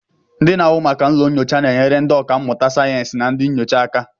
Ndị na-ahụ maka ụlọ nyocha na-enyere ndị ọkà mmụta sayensị na ndị nyocha aka